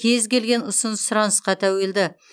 кез келген ұсыныс сұранысқа тәуелді